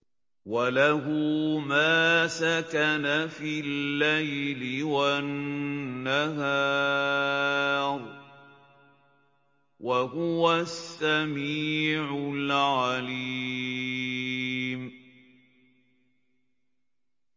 ۞ وَلَهُ مَا سَكَنَ فِي اللَّيْلِ وَالنَّهَارِ ۚ وَهُوَ السَّمِيعُ الْعَلِيمُ